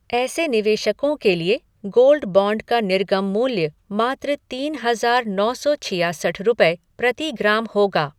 ऐसे निवेशकों के लिए गोल्ड बॉन्ड का निर्गम मूल्य मात्र तीन हजार नौ सौ छयासठ रुपये प्रति ग्राम होगा।